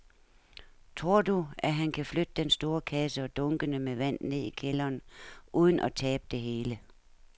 Tror du, at han kan flytte den store kasse og dunkene med vand ned i kælderen uden at tabe det hele?